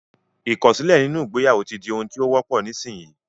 Ìkọ̀sílẹ̀ nínú ìgbéyàwó ti di ohun tí ó wọ́pọ̀ nísinyí